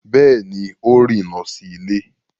Beeni, o rin lo si ile